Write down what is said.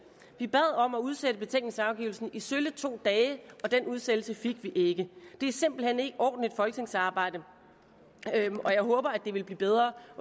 vi bad om at man udsatte betænkningsafgivelsen i sølle to dage og den udsættelse fik vi ikke det er simpelt hen ikke ordentligt folketingsarbejde og jeg håber at det vil blive bedre